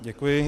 Děkuji.